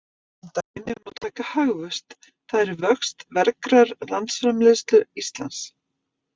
Sem dæmi má taka hagvöxt, það er vöxt vergrar landsframleiðslu Íslands.